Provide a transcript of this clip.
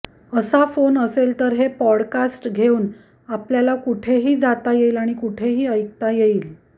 असा फोन असेल तर हे पॉडकास्ट घेउन आपल्याला कुठेही जाता येईल आणि कुठेही ऐकता येईल